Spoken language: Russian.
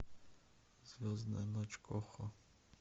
звездная ночь го хо